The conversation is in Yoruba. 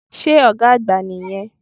Sé Ògá àgbà nì yẹn